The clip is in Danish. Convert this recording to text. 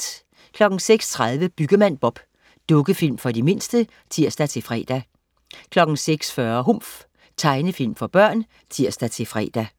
06.30 Byggemand Bob. Dukkefilm for de mindste (tirs-fre) 06.40 Humf. Tegnefilm for børn (tirs-fre)